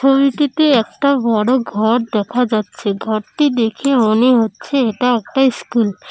ছবিটিতে একটা বড় ঘর দেখা যাচ্ছে ঘরটি দেখে মনে হচ্ছে এটা একটা স্কুল ।